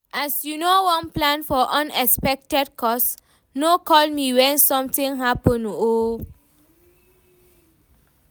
as you no wan plan for unexpected cost, no call me wen something happen o